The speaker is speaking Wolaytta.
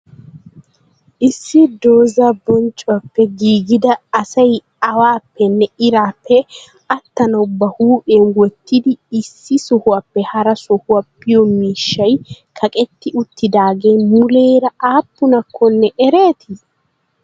issi dooza bonccuwappe giggidaa asay awaappenne iirappe attanawu ba huphiyan wotidi issi sohuwappe haraa sohuwa biyo miishshay kaqqetti uttidagee muleera appunakkonne ereeti?